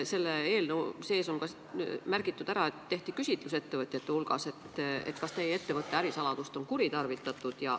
Selle eelnõu seletuskirjas on märgitud, et tehti küsitlus ettevõtjate hulgas, küsides, kas nende ettevõtte ärisaladust on kuritarvitatud.